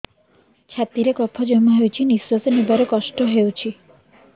ଛାତିରେ କଫ ଜମା ହୋଇଛି ନିଶ୍ୱାସ ନେବାରେ କଷ୍ଟ ହେଉଛି